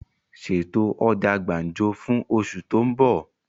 Ṣètò ọjà gbàǹjo fún osù tó ń bọ̀!